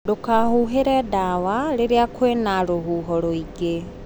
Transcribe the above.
Ndũkahuhĩre ndawa rĩria kwĩna rũhuho rũingĩ.